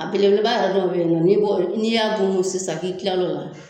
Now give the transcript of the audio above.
A belebeleba yɛrɛ dɔw bɛ ye nɔ, ni bo, n'i y'a gun n'o ye sisan k'i kila lo la.